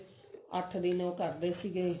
ਅੱਠ ਦਿਨ ਉਹ ਕਰਦੇ ਸੀਗੇ